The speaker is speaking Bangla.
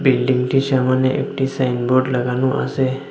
বিল্ডিংটির সামনে একটি সাইনবোর্ড লাগানো আসে।